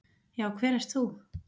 Já, hver ert þú?